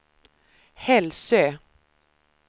Hälsö